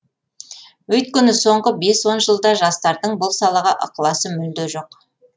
өйткені соңғы бес он жылда жастардың бұл салаға ықыласы мүлде жоқ